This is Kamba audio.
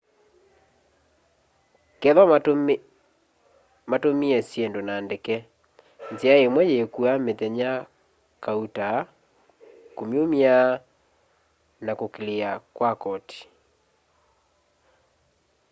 kethwa matumie syindu na ndeke nzia imwe yíkua mithenya kauta kúmyumya na kuclear kwa koti